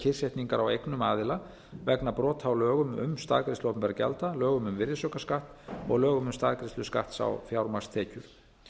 kyrrsetningar á eignum aðila vegna brota á lögum um staðgreiðslu opinberra gjalda lögum um virðisaukaskatt og lögum um staðgreiðslu skatts á fjármagnstekjur